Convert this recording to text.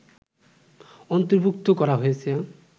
অন্তর্ভুক্ত করা হয়েছে